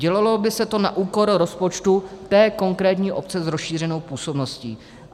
Dělalo by se to na úkor rozpočtu té konkrétní obce s rozšířenou působností.